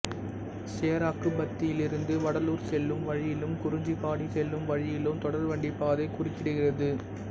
சேராக்குப்பத்திலிருந்து வடலூர் செல்லும் வழியிலும் குறிஞ்சிபாடி செல்லும் வழியிலும் தொடர்வண்டி பாதை குறுக்கிடுகிறது